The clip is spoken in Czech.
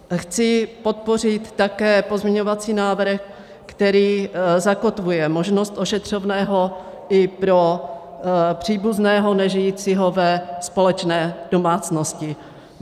Chci podpořit také pozměňovací návrh, který zakotvuje možnost ošetřovného i pro příbuzného nežijícího ve společné domácnosti.